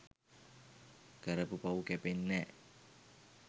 කරපු පව් කැපෙන්නැ‍.